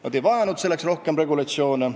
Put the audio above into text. Nad ei vajanud selleks rohkem regulatsioone.